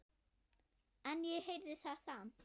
En ég heyrði það samt.